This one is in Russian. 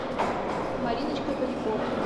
мариночкой поляковой